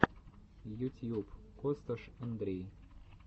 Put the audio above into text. ютьюб косташ андрей